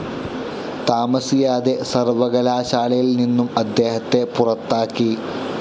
താമസിയാതെ സർവകലാശാലയിൽ നിന്നും അദ്ദേഹത്തെ പുറത്താക്കി.